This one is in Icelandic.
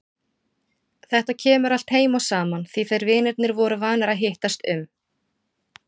Þetta kemur allt heim og saman því þeir vinirnir voru vanir að hittast um